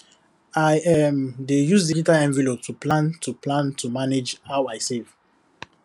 i um dey use digital envelope plan to plan to manage how i save